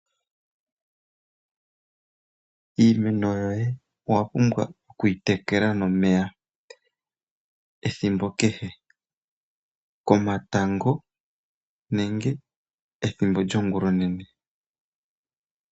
Iimeno yoye owa pumbwa okuyi tekela nomeya ethimbo kehe. Komatango nenge ethimbo lyongulonene.